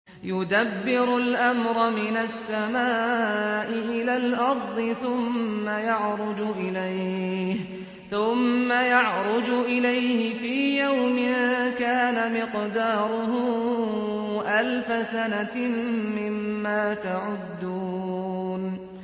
يُدَبِّرُ الْأَمْرَ مِنَ السَّمَاءِ إِلَى الْأَرْضِ ثُمَّ يَعْرُجُ إِلَيْهِ فِي يَوْمٍ كَانَ مِقْدَارُهُ أَلْفَ سَنَةٍ مِّمَّا تَعُدُّونَ